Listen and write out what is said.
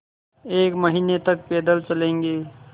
एक महीने तक पैदल चलेंगे